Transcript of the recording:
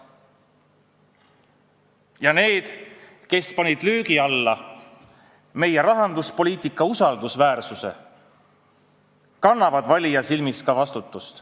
Ja need, kes panid löögi alla meie rahanduspoliitika usaldusväärsuse, kannavad valija silmis ka vastutust.